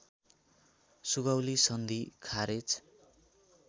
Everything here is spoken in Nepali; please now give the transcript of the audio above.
सुगौली सन्धि खारेज